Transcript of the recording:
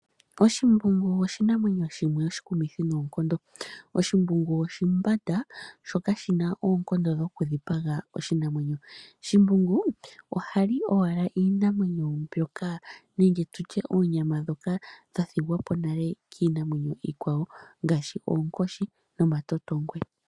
Oshimbungu oshinamwenyo shimwe oshikumithi noonkondo. Oshimbungu oshimbanda sho kashi na oonkondo dho kudhipaga oshinamwenyo .Shimbungu oha li owala iinamwenyo mbyoka nenge tu tye oonyama ndhoka dha thigwapo nale kiinamwenyo iikwawo ngaashi oonkoshi nomatotongwe.